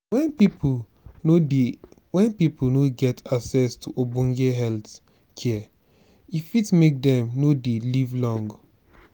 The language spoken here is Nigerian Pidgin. when pipo no when pipo no get access to ogbone health care e fit make dem no dey live long